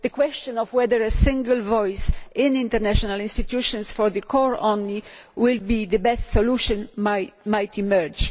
The question of whether a single voice in international institutions for the core only will be the best solution might emerge.